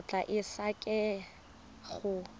o tla e sekaseka go